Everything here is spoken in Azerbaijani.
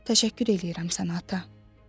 Təşəkkür edirəm sənə ata.